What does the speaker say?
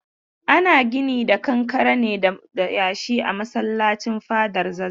Ana ginin kankare ne da yashi a masallacin fadar zazzau.